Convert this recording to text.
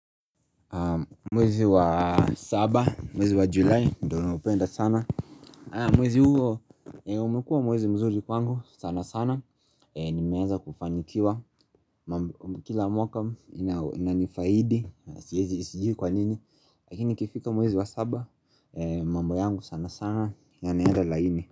Mwezi wa saba, mwezi wa julai, ndo naupenda sana Mwezi huo, umekua mwezi mzuri kwangu sana sana Nimeeza kufanikiwa, kila mwaka inanifaidi Sijui kwa nini, lakini nikifika mwezi wa saba mambo yangu sana sana, yanaenda laini.